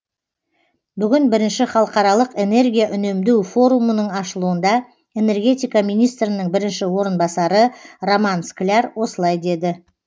бүгін бірінші халықаралық энергия үнемдеу форумының ашылуында энергетика министрінің бірінші орынбасары роман скляр осылай деді